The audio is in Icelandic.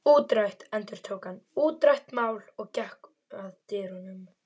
Útrætt endurtók hann, útrætt mál og gekk að dyrunum.